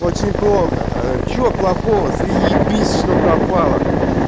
очень плохо а что плохого заебись что пропала